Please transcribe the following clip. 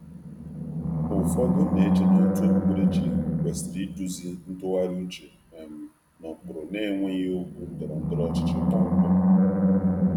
Ụfọdụ na-eche um na òtù okpukperechi kwesịrị iduzi ntụgharị uche n’ụkpụrụ na-enweghị okwu ndọrọ ndọrọ ọchịchị kpọmkwem.